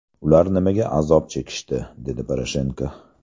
Ular nimaga azob chekishdi?”, − dedi Poroshenko.